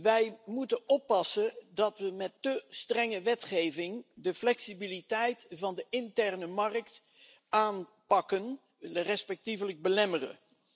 Wij moeten ervoor oppassen dat we met te strenge wetgeving de flexibiliteit van de interne markt aanpakken respectievelijk belemmeren.